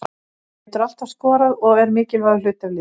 Hann getur alltaf skorað og er mikilvægur hluti af liðinu.